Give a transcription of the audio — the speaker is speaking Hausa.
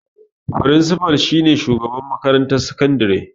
Frinsifa shi ne shugaban makarantar sakandare.